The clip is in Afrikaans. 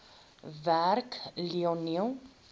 werk lionel